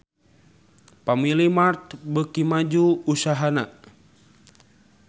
Family Mart beuki maju usahana